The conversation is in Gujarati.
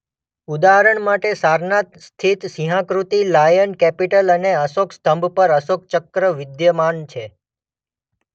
ઉદાહરણ માટે સારનાથ સ્થિત સિંહાકૃતિ લાયન કેપિટલ અને અશોક સ્તંભ પર અશોકચક્ર વિદ્યમાન છે.